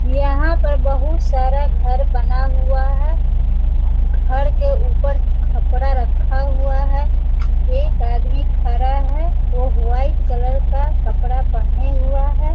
यहाँ पर बहुत सारा घर बना हुआ है घर के उपर छपरा रखा हुआ है एक आदमी खरा है वो वाईट कलर का कपड़ा पहने हुआ है।